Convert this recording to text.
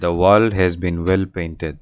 The wall has been well painted.